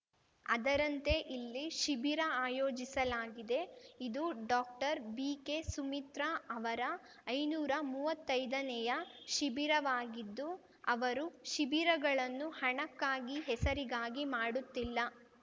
ಅದರಂತೆ ಇಲ್ಲಿ ಶಿಬಿರ ಆಯೋಜಿಸಲಾಗಿದೆ ಇದು ಡಾಕ್ಟರ್ ಬಿಕೆಸುಮಿತ್ರಾ ಅವರ ಐನೂರ ಮುವ್ವತ್ತೈದನೆಯ ಶಿಬಿರವಾಗಿದ್ದು ಅವರು ಶಿಬಿರಗಳನ್ನು ಹಣಕ್ಕಾಗಿ ಹೆಸರಿಗಾಗಿ ಮಾಡುತ್ತಿಲ್ಲ